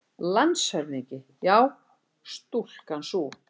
LANDSHÖFÐINGI: Já, stúlkan sú!